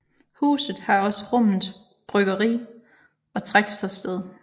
Huset har også rummet bryggeri og traktørsted